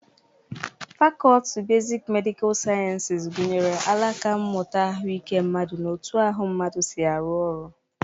Fakọlti besik medịkal siayensis gụnyere alaka mmụta ahụike mmadụ na otu ahụ mmadụ si arụ ọrụ.